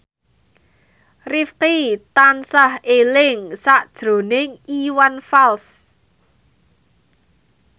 Rifqi tansah eling sakjroning Iwan Fals